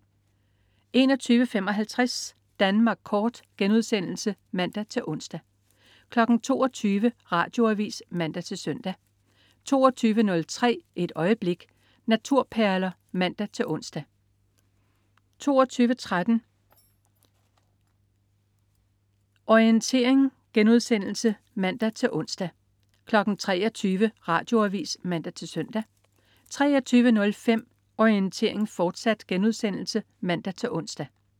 21.55 Danmark Kort* (man-ons) 22.00 Radioavis (man-søn) 22.03 Et øjeblik. Naturperler (man-ons) 22.13 Orientering* (man-ons) 23.00 Radioavis (man-søn) 23.05 Orientering, fortsat* (man-ons)